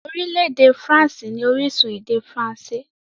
Orílẹ̀-èdè faransé ní orísun èdè faransé.